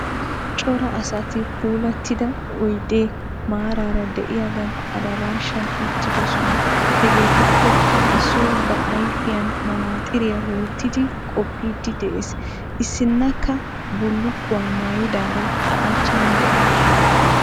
Cora Asati puulattida oyidee maaraara diyagan adaraashan uttidosona hegeetuppekka issoy ba ayifiyan manaaxxiriya wottidi qoppiiddi des. Issinnakaa bullukkuwa mayyidaara a achchan dawusu.